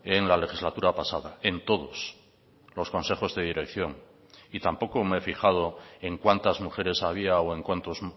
en la legislatura pasada en todos los consejos de dirección y tampoco me he fijado en cuantas mujeres había o en cuántos